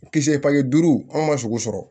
U kisɛ pali duuru anw ma sogo sɔrɔ